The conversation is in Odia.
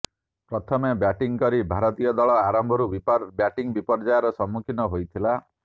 ପ୍ରଥମେ ବ୍ୟାଟିଂ କରି ଭାରତୀୟ ଦଳ ଆରମ୍ଭରୁ ବ୍ୟାଟିଂ ବିପର୍ଯ୍ୟୟର ସମ୍ମୁଖୀନ ହୋଇଥିଲା